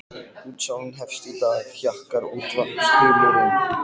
Útsalan hefst í dag, hjakkar útvarpsþulurinn.